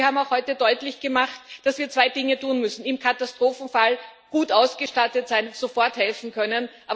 Sie haben heute deutlich gemacht, dass wir zwei Dinge tun müssen im Katastrophenfall gut ausgestattet sein, um sofort helfen zu können.